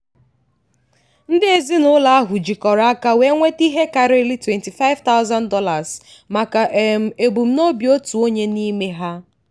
ndị ezinụlọ ahụ jikọrọ aka wee nweta ihe karịrị $25000 maka um ebumnobi otu onye n'ime ha.